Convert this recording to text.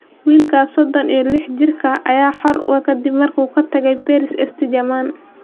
Wiilkaas sodon iyo lix jirka ah ayaa xor ah kadib markii uu ka tagay Paris St-Germain.